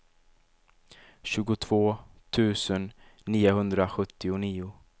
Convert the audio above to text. tjugotvå tusen niohundrasjuttionio